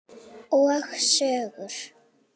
Og sögur.